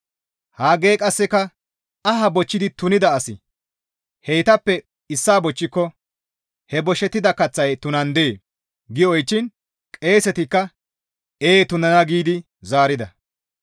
Haggey qasseka, «Aha bochchidi tunida asi heytappe issaa bochchiko he boshettida kaththay tunandee?» gi oychchiin qeesetikka, «Ee tunana» giidi zaarida.